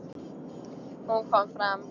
Hún kom fram.